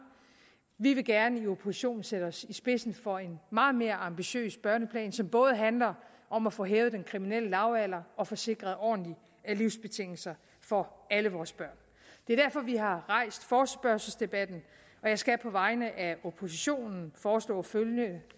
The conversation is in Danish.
vi vil gerne i oppositionen sætte os i spidsen for en meget mere ambitiøs børneplan som både handler om at få hævet den kriminelle lavalder og få sikret ordentlige livsbetingelser for alle vores børn det er derfor vi har rejst forespørgselsdebatten og jeg skal på vegne af oppositionen foreslå følgende